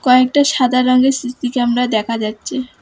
কয়েকটা সাদা রংয়ের সি_সি ক্যামেরা দেখা যাচ্ছে।